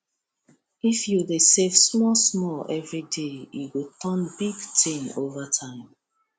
if you dey save smallsmall every day e go turn big thing over time